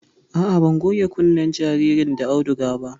A'a, ban goge kunnen jaririn da auduga ba